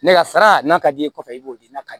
Ne ka sara n'a ka d'i ye kɔfɛ i b'o di na